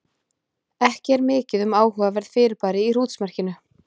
Ekki er mikið um áhugaverð fyrirbæri í hrútsmerkinu.